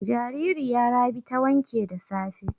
Jaririya Rabi ta wanke da safe.